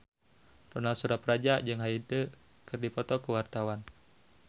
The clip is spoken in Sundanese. Ronal Surapradja jeung Hyde keur dipoto ku wartawan